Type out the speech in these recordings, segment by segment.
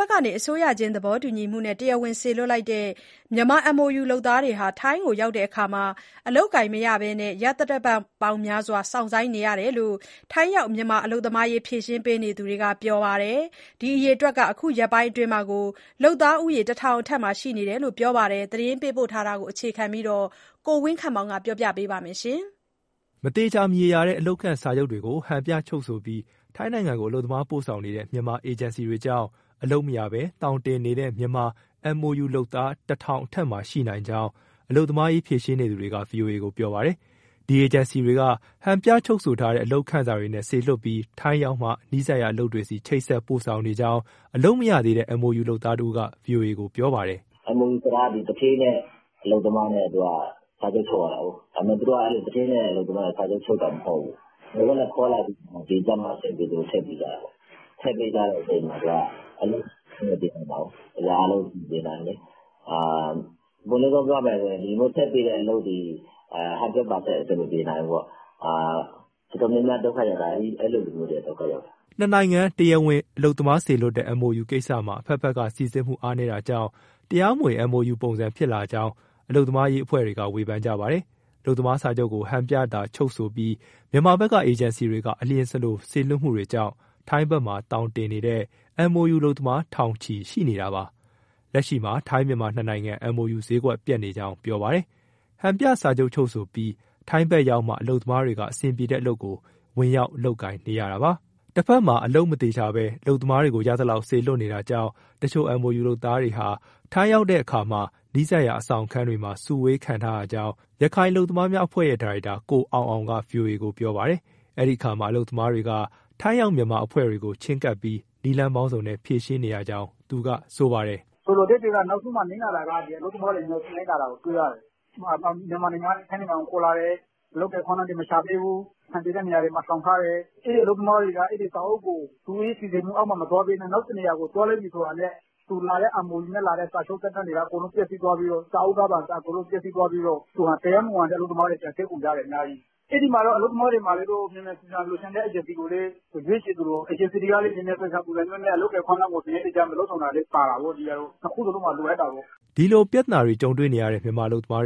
ဘက်က အစိုးရချင်းသဘောတူညီမှုနဲ့ တရားဝင်စေလွှတ်လိုက်တဲ့ မြန်မာ MoU လုပ်သားတွေဟာ ထိုင်းရောက်တဲ့အခါမှာ အလုပ်မရဘဲ ရက်သတ္တပတ်များစွာ စောင့်ဆိုင်းနေရကြောင်း ထိုင်းရောက် မြန်မာအလုပ်သမားရေး ဖြေရှင်းနေသူတွေက ပြောပါတယ်။ ဒီအရေအတွက်ဟာ အခုရက်ပိုင်းအတွင်း ၁,၀၀၀ အထက်မှာရှိနိုင်ကြောင်း ပြောပါတယ်။ ဒီအကြောင်း သတင်းပေးပို့ချက်ကို အခြေခံပြီး ကိုဝင်းခန့်မောင်က ပြောပြမှာပါ။ မသေချာ၊ မရေရာတဲ့ အလုပ်ခန့်စာချုပ်တွေကို ဟန်ပြချုပ်ဆိုပြီး ထိုင်းနိုင်ငံကို အလုပ်သမားပို့ဆောင်နေတဲ့ မြန်မာ အေဂျင်စီတွေကြောင့် အလုပ်မရဘဲ သောင်တင်နေတဲ့ မြန်မာ MoU လုပ်သားက တထောင်အထက်မှာ ရှိနိုင်ကြောင်း အလုပ်သမားရေး ဖြေရှင်းနေသူတွေက ဗွီအိုအေကို ပြောပါတယ်။ ဒီအေဂျင်စီတွေက ဟန်ပြချုပ်ဆိုထားတဲ့ အလုပ်ခန့်စာတွေနဲ့ စေလွှတ်ပြီး ထိုင်းရောက်မှ နီးစပ်ရာအလုပ်တွေဆီ ချိတ်ဆက် ပို့ဆောင်နေကြောင်း အလုပ်မရသေးတဲ့ MoU လုပ်သားတဦးက ဗွီအိုအေကို ပြောပါတယ်။ " MoU ဆိုတာက သူဌေးနဲ့ အလုပ်သမားနဲ့ စာချုပ် ချုပ်ရတာကိုး၊ ဒါပေမဲ့ သူတို့က သူဌေးနဲ့ အလုပ်သမားနဲ့ စာချုပ်ချုပ်တာ မဟုတ်ဘူး။ မချုပ်ဘဲခေါ်လာပြီး ဒီရောက်မှအဆင်ပြေသလို ထည့်ပေးကြတာ။ ထည့်ပေးတော့ အဆင်မပြေနိုင်ဘူး။ အရာအားလုံး ဘယ်အဆင်ပြေနိုင်မလဲ။ အပွင့်လင်းဆုံး ပြောရမယ်ဆိုရင် ဒီလိုမျိုးထည့်ပေးတဲ့ အလုပ်သည် 100% အဆင်မပြေနိုင်ဘူးပေါ့။ တော်တော်များများ ဒုက္ခရောက်တာ အဲလိုလူမျိုးတွေက ဒုက္ခရောက်တာ။" နှစ်နိုင်ငံ တရားဝင် အလုပ်သမားစေလွှတ်တဲ့ MoU ကိစ္စမှာ အဘက်ဘက်က စိစစ်မှုတွေ အားနည်းတာကြောင့် တရားမဝင် MoU ပုံစံဖြစ်လာကြောင်း အလုပ်သမားရေး အဖွဲ့တွေက ဝေဖန်ကြပါတယ်။ အလုပ်သမားစာချုပ်ကို ဟန်ပြသာချုပ်ဆိုပြီး မြန်မာဘက်က အေဂျင်စီတွေက အလျင်စလို စေလွှတ်မှုတွေကြောင့် ထိုင်းဘက်မှာ သောင်တင်နေတဲ့ MoU လုပ်သားက ထောင်ချီရှိနေတာပါ။ လက်ရှိမှာ ထိုင်း-မြန်မာ နှစ်နိုင်ငံ MoU ဈေးကွက်က ပျက်နေကြောင်း ပြောပါတယ်။ ဟန်ပြစာချုပ်ချုပ်ပြီး ထိုင်းဘက်ရောက်မှ အလုပ်သမားတွေက အဆင်ပြေတဲ့အလုပ်ကို ဝင်ရောက်လုပ်ကိုင်နေရတာပါ။ တဖက်မှာ အလုပ်မသေချာဘဲ အလုပ်သမားတွေကို ရသလောက် စေလွှတ်နေတာကြောင့် တချို့ MoU လုပ်သားတွေဟာ ထိုင်းရောက်တဲ့အခါမှာ နီးစပ်ရာအဆောင်ခန်းတွေမှာ စုဝေးခံရထားကြောင်း ရခိုင်အလုပ်သမားများအဖွဲ့ရဲ့ ဒါရိုက်တာ ကိုအောင်အောင်က ဗွီအိုအေကို ပြောပါတယ်။ အဲဒီအခါမှာ အလုပ်သမားတွေက ထိုင်းရောက်မြန်မာအဖွဲ့တွေကို ချဉ်းကပ်ပြီး နည်းလမ်းပေါင်းစုံနဲ့ ဖြေရှင်းရကြောင်း သူကပြောပါတယ်။ " ဆိုတော့ နောက်ဆုံးမှာ အလုပ်သမားတွေ အများဆုံး နစ်နာတာကို တွေ့ရတယ်။ မြန်မာနိုင်ငံကနေ ထိုင်းနိုင်ငံကိုခေါ်လာတယ်။ အလုပ်အကိုင်အခွင့်အလမ်းတွေ မရှာပေးဘူး၊ အဆင်ပြေတဲ့နေရာတွေမှာ လှောင်ထားတယ်။ အဲဒီအလုပ်သမားတွေက စာအုပ်ကို သူတို့စီစဉ်မှုအောက်မှာ မသွားဘဲ နောက်တနေရာကို သွားလိုက်ပြီဆိုတာနဲ့ MoU နဲ့လာတဲ့ စာချုပ်သက်တမ်းတွေက ပျက်စီးသွားပြီးတော့ သူက တရားမဝင်တဲ့ အလုပ်သမားတွေ ပြန်ဖြစ်ကုန်ကြတယ် အများကြီး။" ဒီလိုပြဿနာကြုံတွေ့နေတဲ့ မြန်မာအလုပ်သမားတ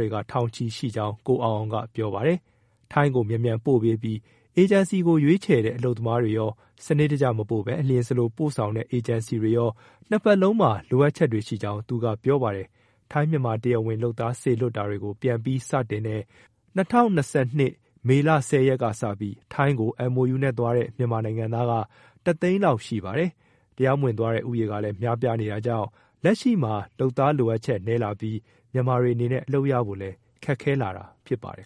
ွေက ထောင်ချီရှိကြောင်း ကိုအောင်အောင်က ပြောပါတယ်။ ထိုင်းကို မြန်မြန်ပို့ပေးတဲ့ အေဂျင်စီကိုရွေးချယ်တဲ့ အလုပ်သမားတွေရော၊ စနစ်တကျမပို့ဘဲ အလျှင်စလိုပို့ဆောင်တဲ့ အေဂျင်စီတွေရော နှစ်ဘက်လုံးမှာ လိုအပ်ချက်ရှိကြောင်း သူကပြောပါတယ်။ ထိုင်း-မြန်မာ တရားဝင် လုပ်သားစေလွှတ်တာကို ပြန်ပြီးစတင်တဲ့ ၂၀၂၂ မေလ ၁၀ရက်ကစပြီး ထိုင်းကို MoUနဲ့သွားတဲ့ မြန်မာနိုင်ငံသားက တသိန်းလောက်ရှိပါတယ်။ တရားမဝင်သွားတဲ့ ဦးရေကလည်း များပြားနေတာကြောင့် လက်ရှိမှာ လုပ်သားလိုအပ်ချက် နည်းလာပြီး မြန်မာတွေအနေနဲ့ အလုပ်ရဖို့လည်း ခက်ခဲလာတာ ဖြစ်ပါတယ်